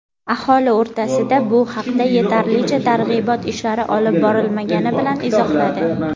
aholi o‘rtasida bu haqda yetarlicha targ‘ibot ishlari olib borilmagani bilan izohladi.